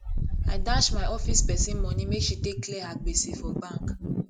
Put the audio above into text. i dash my office pesin moni make she take clear her gbese for bank